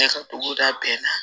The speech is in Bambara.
Ne ka dugu da bɛɛ la